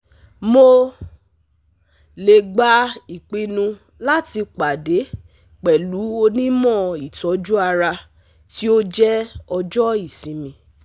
Mo le gba ipinnu lati pade pẹlu onimọ itoju ara ti o jẹ ojo isinmi